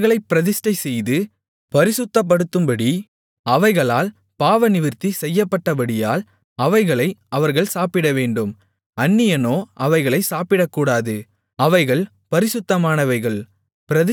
அவர்களைப் பிரதிஷ்டைச்செய்து பரிசுத்தப்படுத்தும்படி அவைகளால் பாவநிவிர்த்தி செய்யப்பட்டபடியால் அவைகளை அவர்கள் சாப்பிடவேண்டும் அந்நியனோ அவைகளை சாப்பிடக்கூடாது அவைகள் பரிசுத்தமானவைகள்